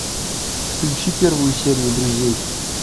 включи первую серию друзей